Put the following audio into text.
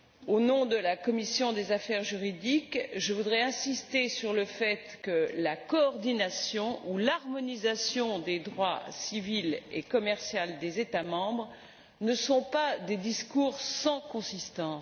Au nom de la commission des affaires juridiques, je voudrais insister sur le fait que la coordination et l'harmonisation du droit civil et du droit commercial des États membres ne sont pas des discours sans consistance.